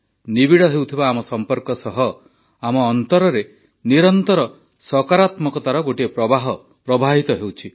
ନିବିଡ଼ ହେଉଥିବା ଆମ ସମ୍ପର୍କ ସହ ଆମ ଅନ୍ତରରେ ନିରନ୍ତର ସକାରାତ୍ମକତାର ଗୋଟିଏ ପ୍ରବାହ ପ୍ରବାହିତ ହେଉଛି